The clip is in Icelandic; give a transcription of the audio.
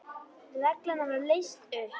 Reglan var leyst upp.